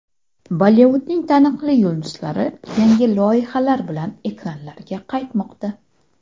Bollivudning taniqli yulduzlari yangi loyihalar bilan ekranlarga qaytmoqda.